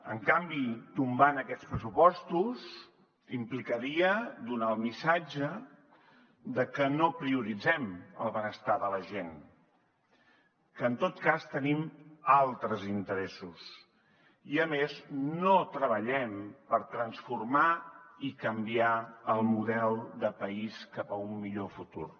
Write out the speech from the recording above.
en canvi tombar aquests pressupostos implicaria donar el missatge de que no prioritzem el benestar de la gent que en tot cas tenim altres interessos i a més no treballem per transformar i canviar el model de país cap a un millor futur